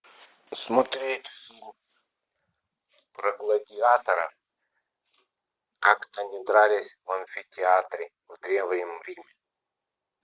смотреть фильм про гладиаторов как они дрались в амфитеатре в древнем риме